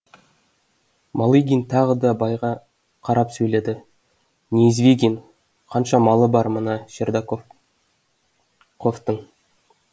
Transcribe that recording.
малыгин тағы да байға қарап сөйледі неизвигин қанша малы бар мына шардақов ковтың